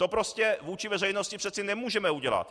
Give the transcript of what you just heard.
To prostě vůči veřejnosti přece nemůžeme udělat.